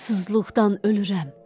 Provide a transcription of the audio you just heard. Susuzluqdan ölürəm.